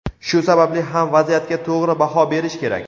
Shu sababli ham vaziyatga to‘g‘ri baho berish kerak.